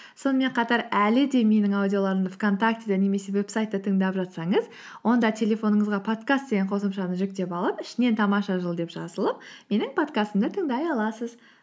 сонымен қатар әлі де менің аудиоларымды вконтактеде немесе вебсайтта тыңдап жатсаңыз онда телефоныңызға подкаст деген қосымшаны жүктеп алып ішінен тамаша жыл деп жазылып менің подкастымды тыңдай аласыз